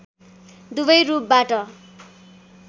दुबै रूपबाट